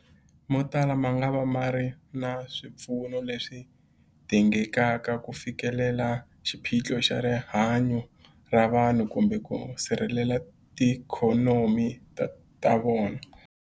Motala mangava ma nga ri na swipfuno leswi dingekaka ku fikelela xiphiqo xa rihanyu ra vanhu kumbe ku sirhelela tiikhonomi ta vona.